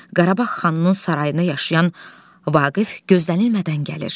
Qarabağ xanının sarayında yaşayan Vaqif gözlənilmədən gəlir.